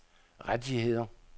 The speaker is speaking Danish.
rettigheder